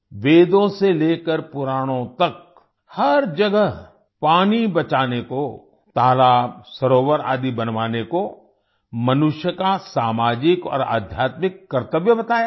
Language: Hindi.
वेदों से लेकर पुराणों तक हर जगह पानी बचाने को तालाब सरोवर आदि बनवाने को मनुष्य का सामाजिक और आध्यात्मिक कर्तव्य बताया गया है